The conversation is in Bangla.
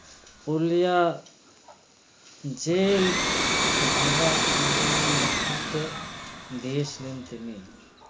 পুরুলিয়া jail ভাঙ্গা আন্দোলনের নেতৃত্ব দিয়েছিলেন তিনি